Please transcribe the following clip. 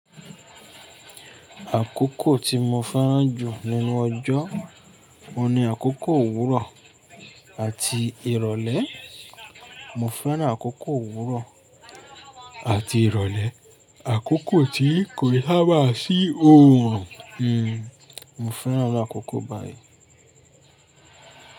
Àkókò tí mo fẹ́ràn jù nínú ọjọ́, òun ní àkókò òwúrọ̀ àti ìrọ̀lẹ́. Mo fẹ́ràn àkókò òwúrọ̀ àti ìrọ̀lẹ́, àkókò tí kòkin ṣá bá sí oòrùn. Hmm, mo fẹ́ràn àkókò báyìí.